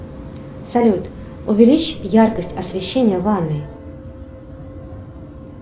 салют увеличь яркость освещения в ванной